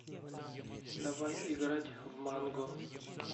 давай играть в манго